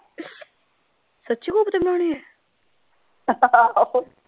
ਸੱਚੀ ਕੋਫਤੇ ਬਣਾਉਣੇ ਹੈ